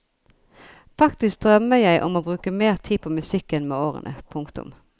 Faktisk drømmer jeg om å bruke mer tid på musikken med årene. punktum